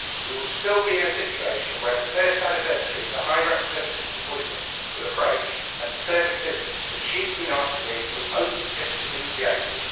We will still be in a situation where the first anniversary of the High Representative's appointment will approach and the services that she has been asked to lead will only just have been created.